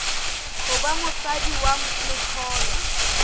ho ba motswadi wa letholwa